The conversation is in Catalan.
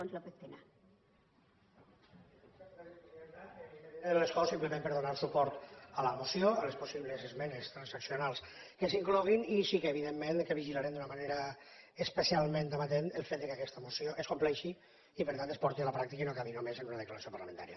des de l’escó simplement per donar suport a la moció a les possibles esmenes transaccionals que s’hi incloguin i sí que evidentment vigilarem d’una manera especialment amatent el fet que aquesta moció es compleixi i per tant es porti a la pràctica i no acabi només en una declaració parlamentària